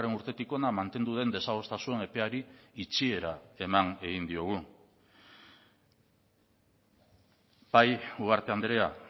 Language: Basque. urtetik hona mantendu den desadostasun epeari itxiera eman egin diogu bai ugarte andrea